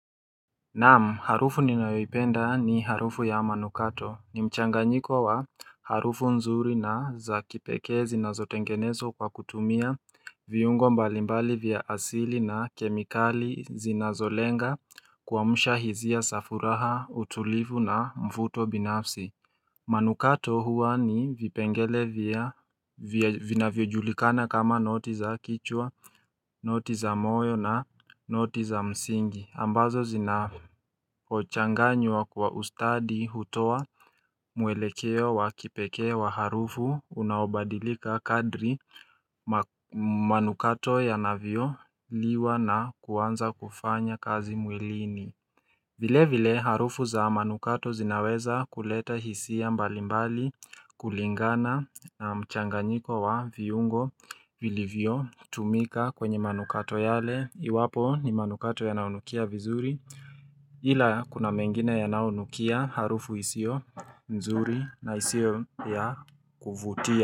Naam harufu ninayoipenda ni harufu ya manukato ni mchanganyiko wa harufu nzuri na za kipekee zinazotengenezwa kwa kutumia viungo mbalimbali vya asili na kemikali zinazolenga kuamsha hisia za furaha utulivu na mvuto binafsi manukato huwa ni vipengele vinavyojulikana kama noti za kichwa, noti za moyo na noti za msingi. Ambazo zinapochanganywa kwa ustadi hutoa mwelekeo wa kipekee wa harufu unaobadilika kadri manukato yanavyoliwa na kuanza kufanya kazi mwilini. Vile vile harufu za manukato zinaweza kuleta hisia mbalimbali kulingana na mchanganyiko wa viungo vilivyo tumika kwenye manukato yale iwapo ni manukato yanaonukia vizuri ila kuna mengine yanaonukia harufu isiyo nzuri na isiyo ya kuvutia.